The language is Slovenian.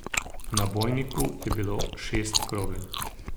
V nabojniku je bilo šest krogel.